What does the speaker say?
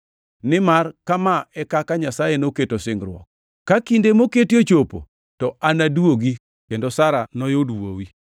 Nimar kama e kaka Nyasaye noketo singruok: “Ka kinde moketi ochopo, to anaduogi kendo Sara noyud wuowi.” + 9:9 \+xt Chak 18:10,14\+xt*